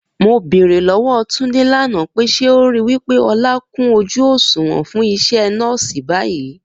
Mo bèrè lówó Túndé lànà pé, ṣé o rò wípé Ọlá kún ojú òṣùwọ̀n fún isé nọ́ọ̀si báyìí?